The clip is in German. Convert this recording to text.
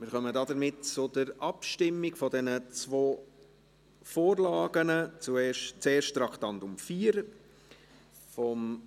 Somit kommen wir zur Abstimmung über die zwei Vorlagen, zuerst betreffend Traktandum 4, die Motion von